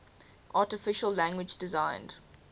artificial language designed